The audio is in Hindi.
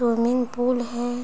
स्वूमिंग पूल है है --